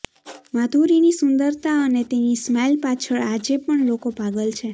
માધુરીની સુંદરતા અને તેની સ્માઇલ પાછલ આજે પણ લોકો પાગલ છે